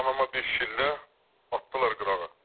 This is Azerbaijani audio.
Anamı bir şillə atdılar qırağa.